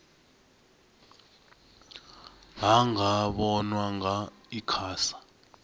ha nga vhonwa nga icasa